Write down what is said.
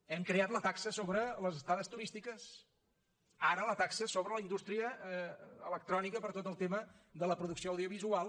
hem creat la taxa sobre les estades turístiques ara la taxa sobre la indústria electrònica per tot el tema de la producció audiovisual